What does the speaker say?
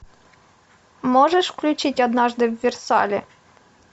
можешь включить однажды в версале